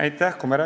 Aitäh!